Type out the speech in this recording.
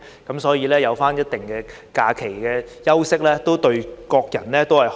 因此，有一定的假期休息，對大家都好。